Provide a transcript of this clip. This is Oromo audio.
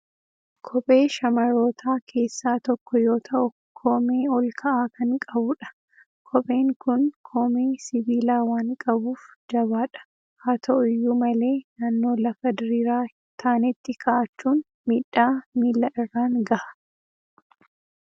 Kophee shamarrootaa keessaa tokko yoo ta'u, koomee ol ka'aa kan qabudha. Kopheen kun koomee sibiilaa waan qabuuf jabaadha. Haa ta'u iyyuu malee naannoo lafa diriiraa hin taanetti kaa'achuun miidhaa miilla irraan gaha.